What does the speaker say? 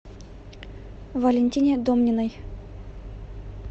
валентине домниной